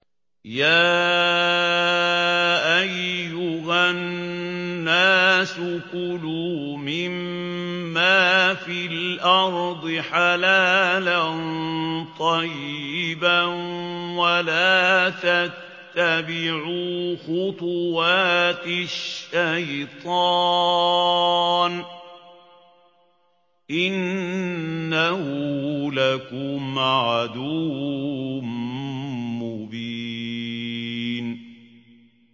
يَا أَيُّهَا النَّاسُ كُلُوا مِمَّا فِي الْأَرْضِ حَلَالًا طَيِّبًا وَلَا تَتَّبِعُوا خُطُوَاتِ الشَّيْطَانِ ۚ إِنَّهُ لَكُمْ عَدُوٌّ مُّبِينٌ